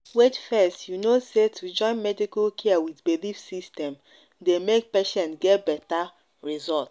wait fess you know say to join medical care with belief system dey make patients get better result.